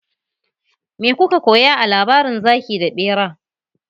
Me kuka koya a labarin zaki da bera?